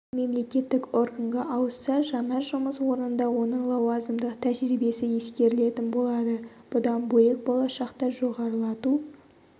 мемлеккеттік органға ауысса жаңа жұмыс орнында оның лауазымдық тәжірибесі ескерілетін болады бұдан бөлек болашақта жоғарылату